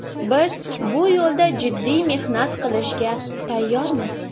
Biz bu yo‘lda jiddiy mehnat qilishga tayyormiz.